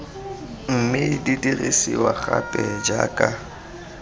mme di dirisiwa gape jaaka